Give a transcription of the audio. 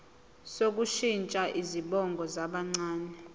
sokushintsha izibongo zabancane